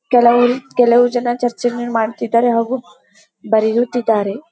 ಕೆಲವರು ಕೆಲವು ಜನ ಚರ್ಚೆ ಯನ್ನ ಮಾಡುತಿದ್ದಾರೆ ಹಾಗು ಬರೆಯುತಿದ್ದಾರೆ.